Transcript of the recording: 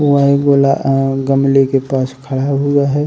वहीं गोला अ गमले के पास खड़ा हुआ है।